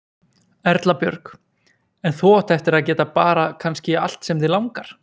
Erla Björg: En þú átt eftir að geta bara kannski allt sem þig langar?